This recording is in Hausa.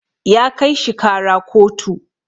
ya kai shi kara kotu